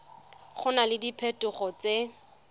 go na le diphetogo tse